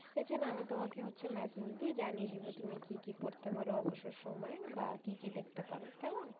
এছাড়া আমি তোমাকে হচ্ছে massage দিয়ে জানিয়ে দেবো তুমি কি কি পড়তে পারো অবসর সময় বা কি কি দেখতে পারো কেমন